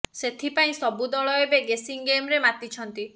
ସେଥିପାଇଁ ସବୁ ଦଳ ଏବେ ଗେସିଙ୍ଗ ଗେମ୍ ରେ ମାତିଛନ୍ତି